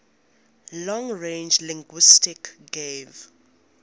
long range linguistics gave